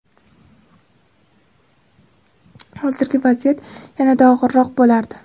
hozirgi vaziyat yanada og‘irroq bo‘lardi.